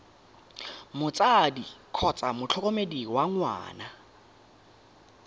motsadi kgotsa motlhokomedi wa ngwana